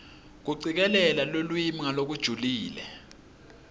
kucikelela lulwimi ngalokujulile